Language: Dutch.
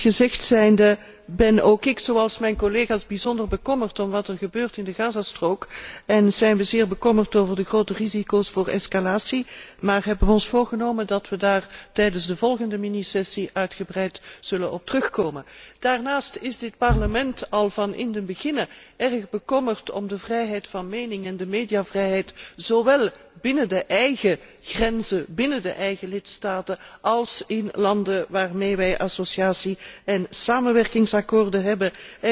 Dit gezegd zijnde, ben ook ik zoals mijn collega's bijzonder bekommerd om wat er gebeurt in de Gazastrook en zijn wij zeer bekommerd over de grote risico's op escalatie, maar hebben ons voorgenomen dat wij daar tijdens de volgende minisessie uitgebreid op terug zullen komen. Daarnaast is dit Parlement van meet af aan erg bekommerd om de vrijheid van mening en de mediavrijheid, zowel binnen de eigen grenzen, binnen de eigen lidstaten, als in landen waarmee wij associatie en samenwerkingsakkoorden hebben.